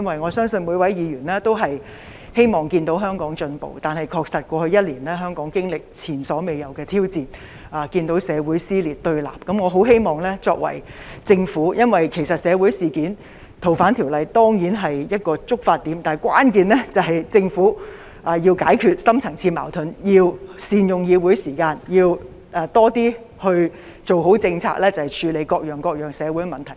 我相信每位議員也希望看到香港進步，但在過去一年，香港確實經歷前所未有的挑戰，我們看到社會撕裂對立，《逃犯條例》固然是今次社會事件的一個觸發點，但關鍵在於政府要解決深層次矛盾，要善用議會時間，要多些做好政策，處理各樣社會問題。